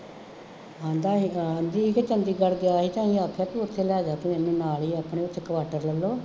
ਹੁੰਦਾ ਇਹ ਆਮ ਵੀ ਕਿ ਚੰਡੀਗੜ੍ਹ ਗਿਆ ਤਾਂ ਅਸੀਂ ਆਖਿਆ ਤੂੰ ਉੱਥੇ ਲੈ ਜਾ ਤੂੰ ਨਾਲ ਹੀ ਆਪਣੇ ਉੱਥੇ ਕੁਆਟਰ ਲੈ ਲਉ